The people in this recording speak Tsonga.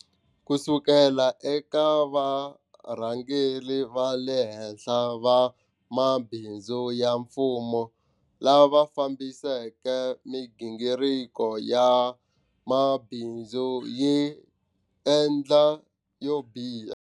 Kusuka eka varhangeri va le henhla va mabindzu ya mfumo lava fambiseke migingiriko ya mabindzu yi endla yo biha.